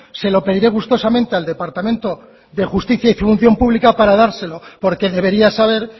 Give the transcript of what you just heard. se lo pediré gustosamente al departamento de justicia y función pública para dárselo porque debería saber